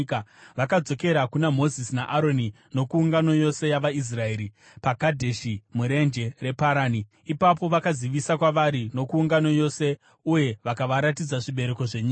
Vakadzokera kuna Mozisi naAroni nokuungano yose yavaIsraeri paKadheshi murenje reParani. Ipapo vakazivisa kwavari nokuungano yose uye vakavaratidza zvibereko zvenyika.